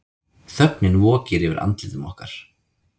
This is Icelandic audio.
Þögnin vokir yfir andlitum okkar.